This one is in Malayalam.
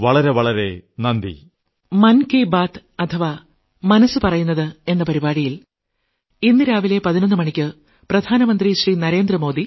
വളരെ വളരെ നന്ദി